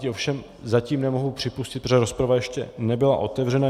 Ty ovšem zatím nemohu připustit, protože rozprava ještě nebyla otevřena.